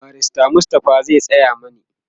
barrister Mustapha zai Tsaya mani